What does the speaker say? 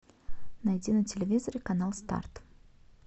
найди на телевизоре канал старт